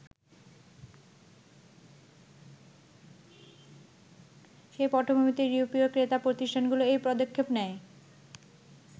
সেই পটভূমিতে ইউরোপীয় ক্রেতা প্রতিষ্ঠানগুলো এই পদক্ষেপ নেয়।